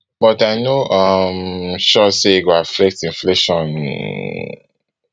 but i no um sure say e go affect inflation